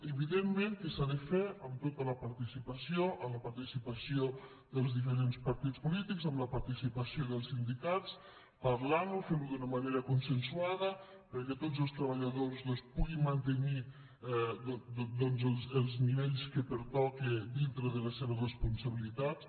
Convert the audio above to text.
evidentment que s’ha de fer amb tota la participació amb la participació dels diferents partits polítics amb la participació dels sindicats parlant ho fent ho d’una manera consensuada perquè tots els treballadors puguin mantenir doncs els nivells que pertoquen dintre de les seves responsabilitats